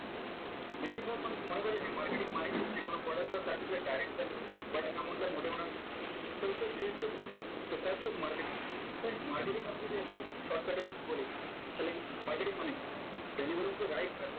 বেশিরভাগ মানুষ মনে করে যে marketing মানেই হচ্ছে কোনো product or service এর direct sale করা but এমনটা মােটেও না friends so এটা দীর্ঘ process so fast এ marketing friends marketing আমি যদি একদম shortcut এ বলি তালে marketing মানে কি delivering the right